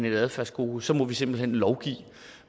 et adfærdskodeks så må vi simpelt hen lovgive